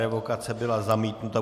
Revokace byla zamítnuta.